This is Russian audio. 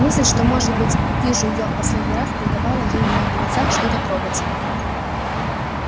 мысль что может быть вижу её в последний раз придавала ей в моих глазах что-то трогательное